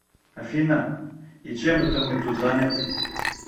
афина и чем это мы тут заняты